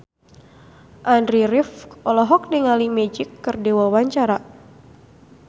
Andy rif olohok ningali Magic keur diwawancara